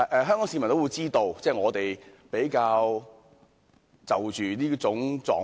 香港市民也知道，這是我們比較關注的狀況。